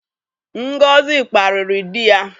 Ngozi kparịrị dị ya.